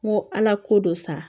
N ko ala ko dɔ sa